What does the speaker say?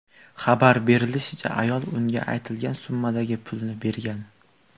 Xabar berishlaricha, ayol unga aytilgan summadagi pulni bergan.